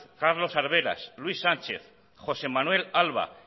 carlos arberas luis sánchez josé manuel alba